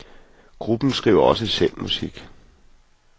Gruppen skriver også selv musik.